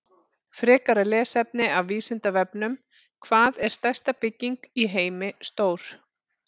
Frekra lesefni af Vísindavefnum: Hvað er stærsta bygging í heimi stór?